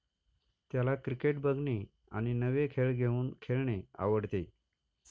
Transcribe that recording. त्याला क्रिकेट बघणे आणि नवे खेळ घेऊन खेळणे आवडते